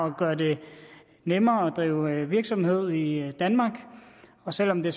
at gøre det nemmere at drive virksomhed i danmark og selv om det